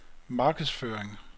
markedsføring